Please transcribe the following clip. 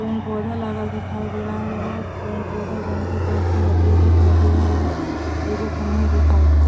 पेड़ -पौधा लागल दिखइ दे रहल बा। पेड़ पौधा जोन की काफी हरियर दिखइ दे रहल बा। एगो खम्भों दिखाइ दे रहल बा।